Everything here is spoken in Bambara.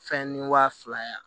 Fɛn ni wa fila ye